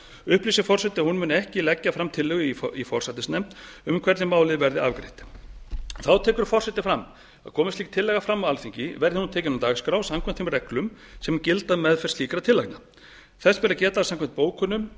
upplýsir forseti að hún muni ekki leggja fram tillögu í forsætisnefnd um hvernig málið verði afgreitt þá tekur forseti fram að komi slík tillaga fram á alþingi verði hún tekin á dagskrá samkvæmt þeim reglum sem gilda um meðferð slíkra tillagna þess ber að geta að samkvæmt bókunum